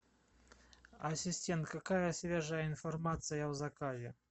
ассистент какая свежая информация о заказе